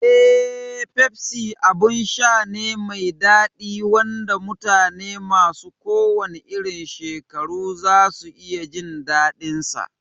Eh, Pepsi abin sha ne mai daɗi wanda mutane masu kowanne irin shekaru za su iya jin daɗinsa.